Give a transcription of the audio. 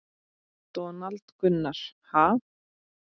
Donald Gunnar: Ha?